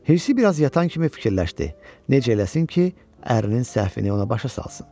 Hirsi biraz yatan kimi fikirləşdi: Necə eləsin ki, ərinin səhvini ona başa salsın?